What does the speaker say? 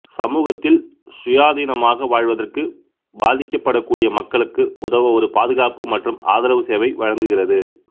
சமூகத்தில் சுயாதீனமாக வாழ்வதற்கு பாதிக்கப்படக்கூடிய மக்களுக்கு உதவ ஒரு பாதுகாப்பு மற்றும் ஆதரவு சேவை வழங்குகிறது